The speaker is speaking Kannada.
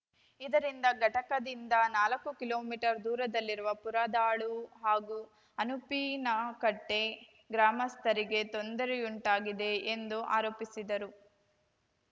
ಇದರಿಂದ ಘಟಕದಿಂದ ನಾಲಕ್ಕು ಕಿಲೋಮೀಟರ್ ದೂರದಲ್ಲಿರುವ ಪುರದಾಳು ಹಾಗೂ ಅನುಪಿನಕಟ್ಟೆಗ್ರಾಮಸ್ಥರಿಗೆ ತೊಂದರೆಯುಂಟಾಗಿದೆ ಎಂದು ಆರೋಪಿಸಿದರು